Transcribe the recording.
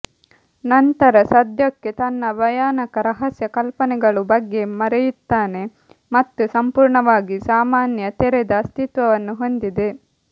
ನಂತರ ಸದ್ಯಕ್ಕೆ ತನ್ನ ಭಯಾನಕ ರಹಸ್ಯ ಕಲ್ಪನೆಗಳು ಬಗ್ಗೆ ಮರೆಯುತ್ತಾನೆ ಮತ್ತು ಸಂಪೂರ್ಣವಾಗಿ ಸಾಮಾನ್ಯ ತೆರೆದ ಅಸ್ತಿತ್ವವನ್ನು ಹೊಂದಿದೆ